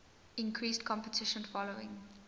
increased competition following